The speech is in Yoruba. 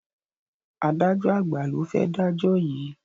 Adájo àgbà lo fé dajọ yí.